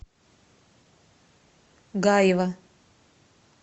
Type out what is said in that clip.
гаева